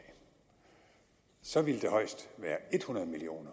så ville det højst være hundrede million